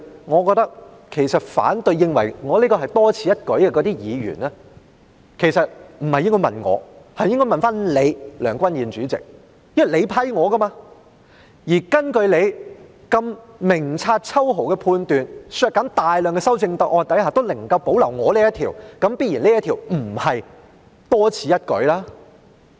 我覺得認為我的修正案是多此一舉的議員不應該問我，而是應該問你，梁君彥主席，因為是你批准我提出的，而根據你明察秋毫的判斷，在削減大量的修正案下仍能夠保留我這項修正案，這必然不是多此一舉。